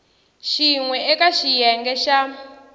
xin we eka xiyenge xa